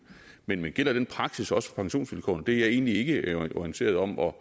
men gælder den praksis også for pensionsvilkårene det er jeg egentlig ikke orienteret om og